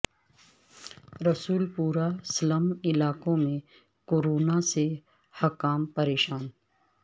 رسول پورہ سلم علاقوں میں کورونا سے حکام پریشان